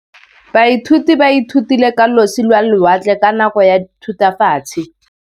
Baithuti ba ithutile ka losi lwa lewatle ka nako ya Thutafatshe.